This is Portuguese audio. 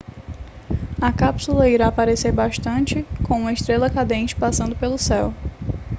a cápsula irá parecer bastante com uma estrela cadente passando pelo céu